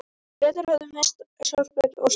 Bretar höfðu misst sjálfstraust og samkeppnishæfni.